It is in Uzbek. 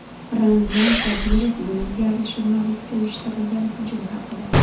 Ramzan Qodirov gruziyalik jurnalistga uyushtirilgan hujum haqida.